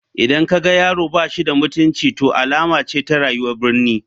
Idan ka ga yaro ba shi da mutunci to alama ce ta rayuwar birni.